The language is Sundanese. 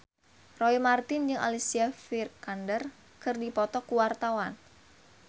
Roy Marten jeung Alicia Vikander keur dipoto ku wartawan